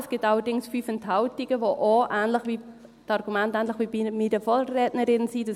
Es gibt allerdings 5 Enthaltungen, mit Argumenten, die auch ähnlich wie bei meiner Vorrednerin sind.